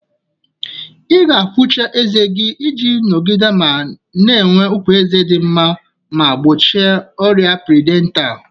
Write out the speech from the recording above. Ị ga-afụcha ezé gị iji nọgide na-enwe ukwu eze di nma ma gbochie ọrịa piriodontalu.